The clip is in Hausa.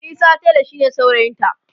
Isa tela shine saurayinta